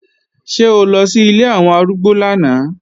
Ṣé o lọ sí ilé àwọn arúgbó lánàá?